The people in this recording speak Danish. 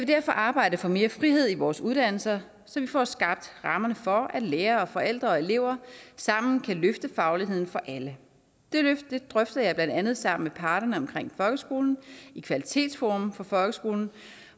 derfor arbejde for mere frihed i vores uddannelser så vi får skabt rammerne for at lærere og forældre og elever sammen kan løfte fagligheden for alle det løft drøfter jeg blandt andet sammen parterne omkring folkeskolen i kvalitetsforum for folkeskolen